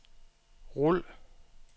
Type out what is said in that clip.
rul